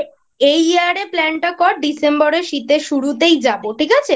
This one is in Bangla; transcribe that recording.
এই Year এ Planning টা কর December এ শীতের শুরুতেই যাব ঠিক আছে?